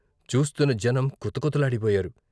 చూస్తున్న జనం కుత కుతలాడి పోయారు.